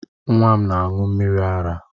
Nwa m na aṅụ mmiri ara